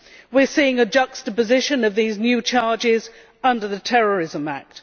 We are seeing the juxtaposition of these new charges under the terrorism act.